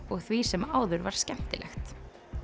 og því sem áður var skemmtilegt